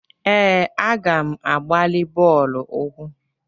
Ee, aga m a gbalị bọọlụ ụkwụ.